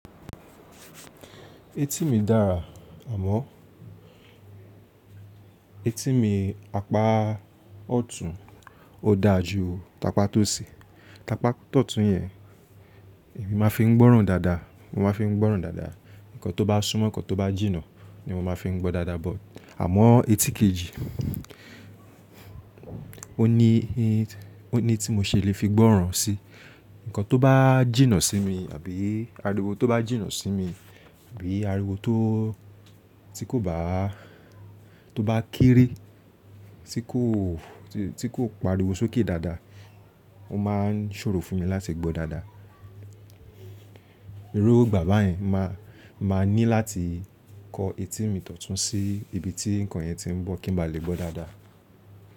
Etí mi dára, àmọ́ etí mi apá ọ̀tún ó da ju tapá tó sì. Tapá ọ̀tún yẹn èmi máa fi ń gbọ́ràn dáadáa, mo máa fi ń gbọ́ràn dáadáa. Ǹkan tó bá súnmọ́. Ǹkan tó bá jìnnà ni mo máa fi ń gbọ́ dáadáa, àmọ́ etí kejì ó ní i, ó ní tí mo ṣe lè fi gbọ́ràn si. Ǹkan tó bá jìnnà sí mi àbí ariwo tó bá jìnnà sí mi, àbí ariwo tó, tí kò bá, tó bá kéré, tí kò, tí kò pariwo sókè dáadáa, ó máa ń ṣòro fún mi láti gbọ́ dáadáa. Irú gbà bà yẹn máa, máa ní láti kọ etí mi tọtún sí ibi tí ǹkan yẹn ti ń bọ̀ kí n ba lè gbọ́ dáadáa.